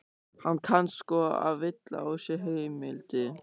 Hann kann sko að villa á sér heimildir.